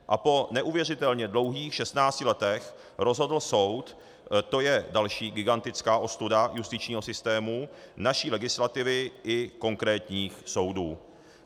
A po neuvěřitelně dlouhých 16 letech rozhodl soud, to je další gigantická ostuda justičního systému, naší legislativy i konkrétních soudů.